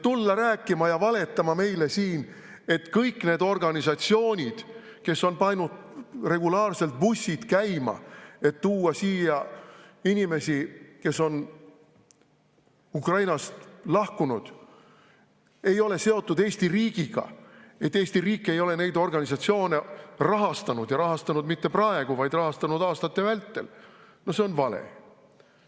Tulla rääkima ja valetama meile siin, et kõik need organisatsioonid, kes on pannud regulaarselt bussid käima, et tuua siia inimesi, kes on Ukrainast lahkunud, ei ole seotud Eesti riigiga, et Eesti riik ei ole neid organisatsioone rahastanud ja mitte ainult praegu, vaid aastate vältel – no see on vale.